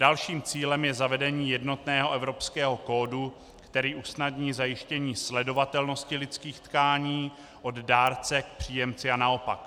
Dalším cílem je zavedení jednotného evropského kódu, který usnadní zajištění sledovatelnosti lidských tkání od dárce k příjemci a naopak.